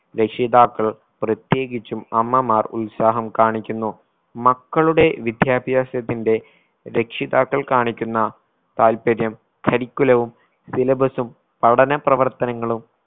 രക്ഷിതാക്കൾ പ്രത്യേകിച്ചും അമ്മമാർ ഉത്സാഹം കാണിക്കുന്നു മക്കളുടെ വിദ്യാഭ്യാസത്തിന്റെ രക്ഷിതാക്കൾ കാണിക്കുന്ന താല്പര്യം curriculum വും syllabus ഉം പഠന പ്രവർത്തനങ്ങളും